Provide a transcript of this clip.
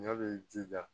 Ɲɔ b'i jija